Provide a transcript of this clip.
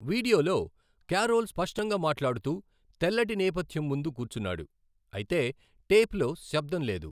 వీడియోలో, కారోల్ స్పష్టంగా మాట్లాడుతూ తెల్లటి నేపథ్యం ముందు కూర్చున్నాడు, అయితే టేప్లో శబ్దం లేదు.